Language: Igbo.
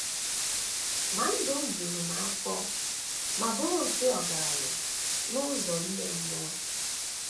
Ma ndụ m juru m afọ ma bụrụ nke ọgaranya n’ụzọ ime mmụọ.